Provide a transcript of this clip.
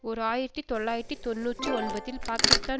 ஓர் ஆயிரத்தி தொள்ளாயிரத்து தொன்னூற்றி ஒன்பதில் பாக்கிஸ்தான்